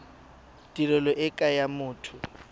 tirelo e ke ya motho